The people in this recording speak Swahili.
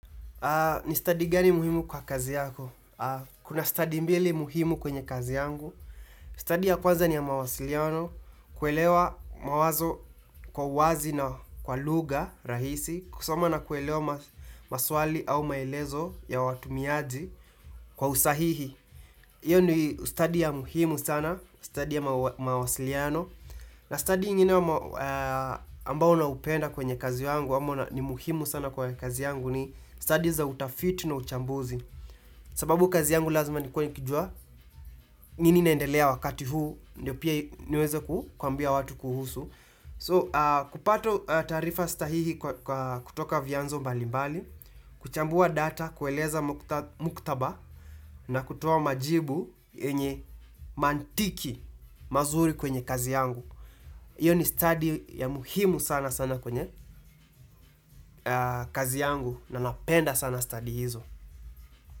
Ni study gani muhimu kwa kazi yako? Kuna study mbili muhimu kwenye kazi yangu. Study ya kwanza ni ya mawasiliano, kuelewa mawazo kwa wazi na kwa lugha rahisi, kusoma na kuelewa maswali au maelezo ya watumiaji kwa usahihi. Iyo ni study ya muhimu sana, study ya mawasiliano, na study ingine ambao naupenda kwenye kazi yangu, ama na ni muhimu sana kwenye kazi yangu ni study za utafiti na uchambuzi. Sababu kazi yangu lazima nikue nikijua, nini naendelea wakati huu, ndio pia niweze kuambia watu kuhusu. So kupata taarifa stahihi kutoka vyanzo mbalimbali, kuchambua data, kueleza muktaba na kutoa majibu yenye mantiki mazuri kwenye kazi yangu. Iyo ni study ya muhimu sana sana kwenye kazi yangu na napenda sana study hizo.